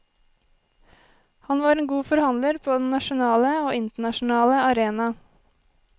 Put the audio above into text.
Han var en god forhandler på den nasjonale og internasjonale arena.